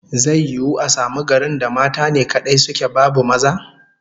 Zai yiwu a samu garin da mata ne kadai suke, babu maza?